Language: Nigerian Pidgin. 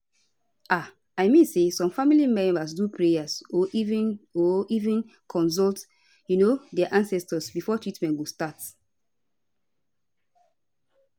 um i mean say some family members do prayer or even or even consult um dia ancestors before treatment go start